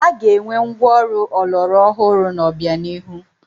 A ga-enwe ngwa ọrụ ọlọrọ ọhụrụ n'obianihu.